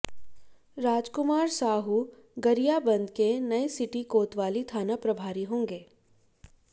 रामकुमार साहू गरियाबंद के नए सिटी कोतवाली थाना प्रभारी होंगे